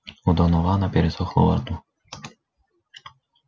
у донована пересохло во рту